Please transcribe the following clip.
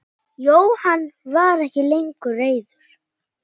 Jóhann var ekki lengur reiður.